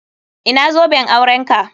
Ina zoben aurenka?